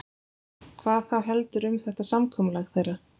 Hvað þá heldur um þetta samkomulag þeirra.